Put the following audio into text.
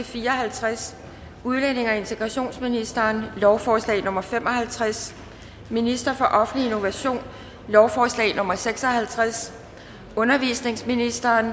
fire og halvtreds udlændinge og integrationsministeren lovforslag nummer l fem og halvtreds ministeren for offentlig innovation lovforslag nummer l seks og halvtreds undervisningsministeren